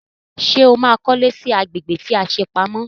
Sọ ma kọ́lé sí agbègbè tí a ṣe pamọ́?